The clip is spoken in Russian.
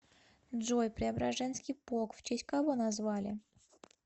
джой преображенский полк в честь кого назвали